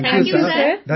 thank you sir